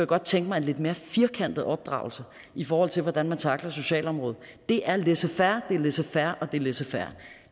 godt tænke mig en lidt mere firkantet opdragelse i forhold til hvordan man tackler socialområdet det er laissez faire det er laissez faire og det er laissez faire